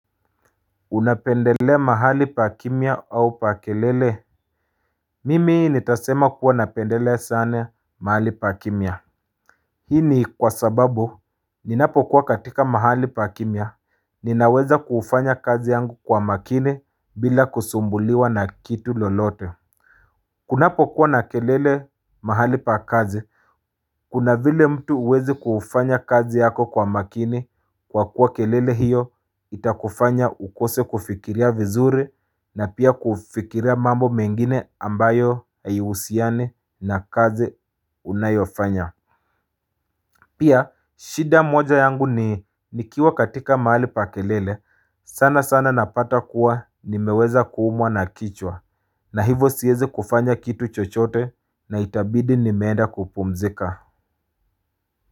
Unapendelea mahali pa kimya au pa kelele Mimi ni tasema kuwa napendelea sane mahali pa kimya Hii ni kwa sababu ninapokuwa katika mahali pa kimya ninaweza kufanya kazi yangu kwa makini bila kusumbuliwa na kitu lolote Kunapo kuwa na kelele mahali pa kazi, kuna vile mtu uwezi kufanya kazi yako kwa makini kwa kuwa kelele hiyo itakufanya ukose kufikiria vizuri na pia kufikiria mambo mengine ambayo haihusiani na kazi unayofanya. Pia, shida moja yangu ni nikiwa katika mahali pa kelele, sana sana napata kuwa ni meweza kuumwa na kichwa, na hivo siwezi kufanya kitu chochote na itabidi nimeenda kupumzika.